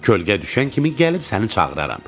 Kölgə düşən kimi gəlib səni çağıraram.